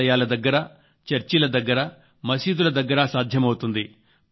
ఆలయాల దగ్గర చర్చిల దగ్గర మసీదుల దగ్గర సాధ్యమవుతుంది